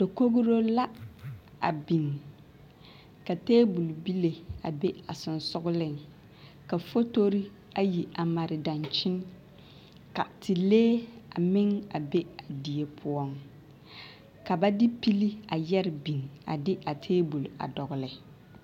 Dakogro la a biŋ ka tabol bile a be a sensogleŋ ka fotori ayi a mare dankyini ka telee a meŋ a be a die poɔŋ ka ba de pili a yɛre biŋ avde a tabol a dɔgle.